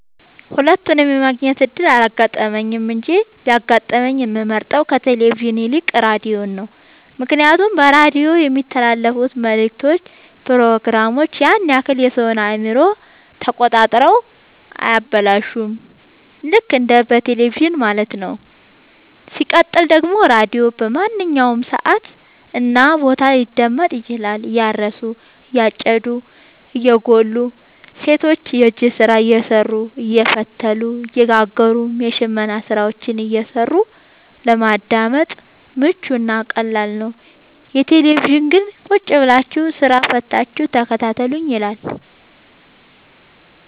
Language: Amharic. ሁለቱንም የማግኘት እድል አላጋጠመኝም እንጂ ቢያጋጥመኝ የምመርጠው ከቴሌቪዥን ይልቅ ራዲዮን ነው ምክንያቱም በራዲዮ የሚተላለፍት መልክቶች ፕሮግራሞች ያን ያክል የሰወን አእምሮ ተቆጣጥረው አያበላሹም ልክ እንደ በቴለቪዥን ማለት ነው። ሲቀጥል ደግሞ ራዲዮ በማንኛውም ሰዓት እና ቦታ ሊደመጥ ይችላል። እያረሱ የጨዱ እየጎሉ ሰቶች የእጅ ስራ እየሰሩ አየፈተሉ እየጋገሩም የሽመና ስራዎችን እየሰሩ ለማዳመጥ ምቹ እና ቀላል ነው። የቴሌቪዥን ግን ቁጭብላችሁ ስራ ፈታችሁ ተከታተሉኝ ይላል።